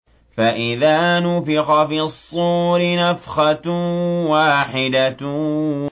فَإِذَا نُفِخَ فِي الصُّورِ نَفْخَةٌ وَاحِدَةٌ